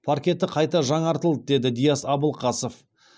паркеті қайта жаңартылды деді диас абылқасов